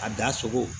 A da sogo